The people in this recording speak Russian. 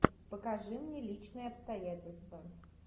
покажи мне личные обстоятельства